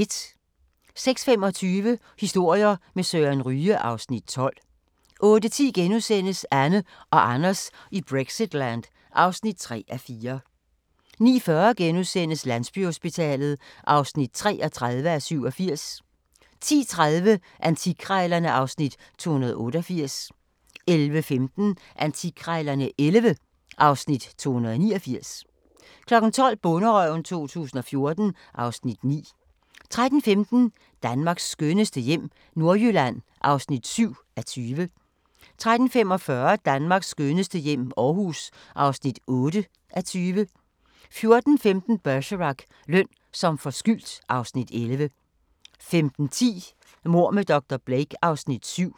06:25: Historier med Søren Ryge (Afs. 12) 08:10: Anne og Anders i Brexitland (3:4)* 09:40: Landsbyhospitalet (33:87)* 10:30: Antikkrejlerne (Afs. 288) 11:15: Antikkrejlerne XI (Afs. 289) 12:00: Bonderøven 2014 (Afs. 9) 13:15: Danmarks skønneste hjem - Nordjylland (7:20) 13:45: Danmarks skønneste hjem - Aarhus (8:20) 14:15: Bergerac: Løn som forskyldt (Afs. 11) 15:10: Mord med dr. Blake (Afs. 7)